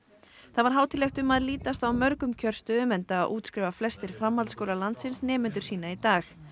það var hátíðlegt um að litast á mörgum kjörstöðum enda útskrifa flestir framhaldsskólar landsins nemendur sína í dag